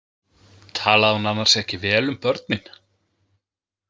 Talaði hún annars ekki vel um börnin?